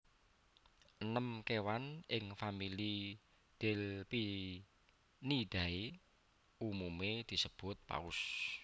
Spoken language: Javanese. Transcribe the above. Enem kéwan ing famili Delphinidae umumé disebut paus